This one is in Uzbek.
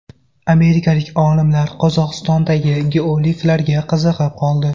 Amerikalik olimlar Qozog‘istondagi geogliflarga qiziqib qoldi.